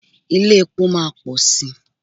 Ilé-epo máa pọ̀ sí.